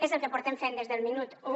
és el que portem fent des del minut u